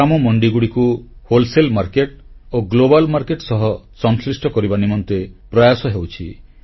ଗ୍ରାମ ମଣ୍ଡିଗୁଡ଼ିକୁ ପାଇକାରୀ ବଜାର ଓ ବିଶ୍ୱ ବଜାର ସହ ସଂଶ୍ଳିଷ୍ଟ କରିବା ନିମନ୍ତେ ପ୍ରୟାସ ହେଉଛି